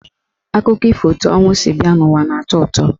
Akụkọ ifo etu ọnwụ si bịa n'ụwa na-atọ ụtọ.